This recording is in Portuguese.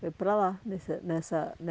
Foi para lá nesse nessa